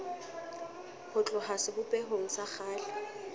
ho tloha sebopehong sa kgale